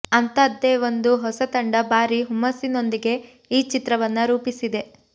ಅಂಥಾದ್ದೇ ಒಂದು ಹೊಸ ತಂಡ ಭಾರೀ ಹುಮ್ಮಸ್ಸಿನೊಂದಿಗೆ ಈ ಚಿತ್ರವನ್ನ ರೂಪಿಸಿದೆ